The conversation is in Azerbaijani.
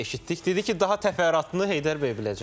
Eşitdik, dedi ki, daha təfərrüatını Heydər bəy biləcək.